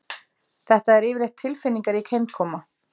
Þetta er yfirleitt tilfinningarík heimkoma